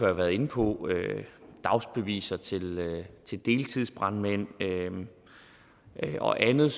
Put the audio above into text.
har været inde på dagsbeviser til til deltidsbrandmænd og andet